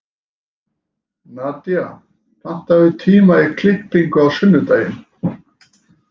Nadía, pantaðu tíma í klippingu á sunnudaginn.